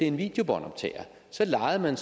en videobåndoptager lejede man